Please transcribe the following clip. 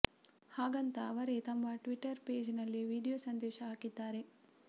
ಹಾಗಂತ ಅವರೇ ತಮ್ಮ ಟ್ವಿಟರ್ ಪೇಜ್ ನಲ್ಲಿ ವಿಡಿಯೋ ಸಂದೇಶ ಹಾಕಿದ್ದಾರೆ